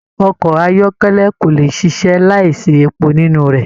Ọkọ ayọkẹlẹ ko le ṣiṣẹ láì sí èpo nínú rẹ.